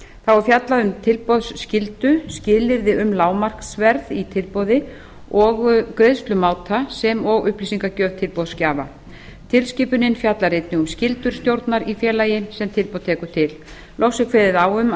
þá er fjallað um tilboðsskyldu skilyrði um lágmarksverð í tilboði og greiðslumáta sem og upplýsingagjöf tilboðsgjafa tilskipunin fjallar einnig um skyldu stjórnar í félagi sem tilboð tekur til loks er kveðið á um að